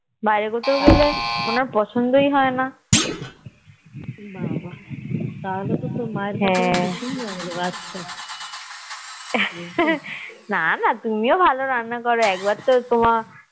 বাইরে কোথাও গেলে ওনার পছন্দই হয়না হ্যাঁ নানা তুমিও ভালো রান্না করো একবার তো আমার